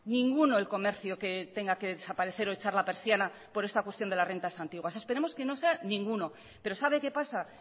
ninguno el comercio que tenga que desaparecer o echar la persiana por esta cuestión de las rentas antiguas esperemos que no sea ninguno pero sabe qué pasa